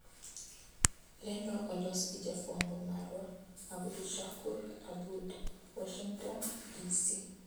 lendo olos gi jafwambo marwa Abdushakur Aboud, Washington, DC.